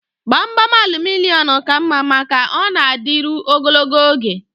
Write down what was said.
Gbamgbam aluminịọm ka mma maka ọ na-adịru ogologo oge